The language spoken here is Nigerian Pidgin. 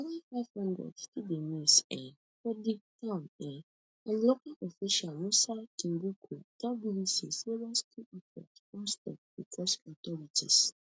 anoda five hundred still dey miss um for di town um and local official musa kimboku tell bbc say rescue efforts don stop becos authorities